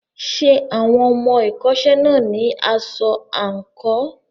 Ṣé àwọn ọmọ ẹ̀kọ́ṣẹ́ náà ní aṣọ àǹkóò?